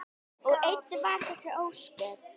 Og enn vara þessi ósköp.